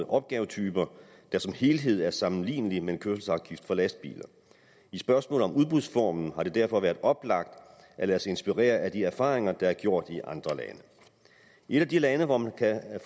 opgavetyper der som helhed er sammenlignelige med en kørselsafgift for lastbiler i spørgsmålet om udbudsformen har det derfor været oplagt at lade sig inspirere af de erfaringer der er gjort i andre lande et af de lande hvor man kan